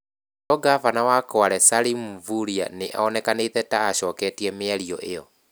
No ngabana wa Kwale Salim Mvurya nĩ onekanĩte ta acoketie mĩario ĩo.